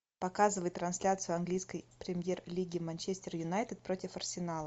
показывай трансляцию английской премьер лиги манчестер юнайтед против арсенала